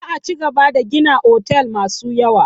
Za a cigaba da gina otal masu yawa.